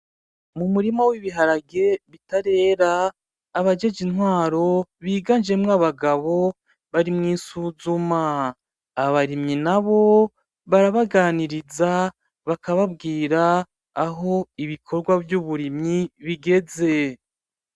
Mu murima w'ibiharage bitarera, abajejwe intwaro biganjemwo abagabo bari mw'isuzuma, abarimyi nabo barabaganiriza bakababwira aho ibikogwa vy'uburimyi bigeze.